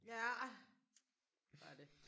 Ja var det